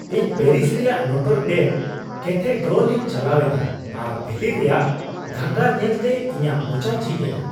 ᱤᱧ ᱯᱮᱨᱤᱥ ᱨᱮᱭᱟᱜ Notre Dame cathedral ᱤᱧ ᱪᱟᱞᱟᱣ ᱮᱱᱟ ᱟᱨ ᱵᱷᱤᱛᱤᱨ ᱨᱮᱭᱟᱜ ᱜᱷᱚᱸᱜᱚᱨ ᱧᱮᱞᱛᱮ ᱤᱧᱟᱹᱜ ᱢᱚᱪᱟ ᱡᱷᱤᱡ ᱮᱱᱟ ᱾